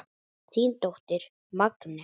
Þín dóttir Magnea.